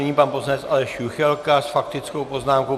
Nyní pan poslanec Aleš Juchelka s faktickou poznámkou.